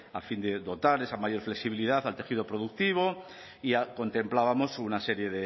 a fin de dotar de esa mayor flexibilidad al tejido productivo ya contemplábamos una serie